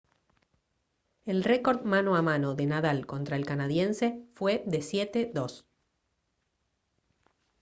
el récord mano a mano de nadal contra el canadiense fue de 7-2